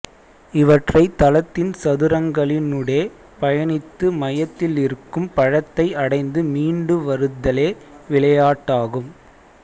இவற்றைத் தளத்தின் சதுரங்களினூடே பயணித்து மையத்திலிருக்கும் பழத்தை அடைந்து மீண்டு வருதலே விளயாட்டாகும்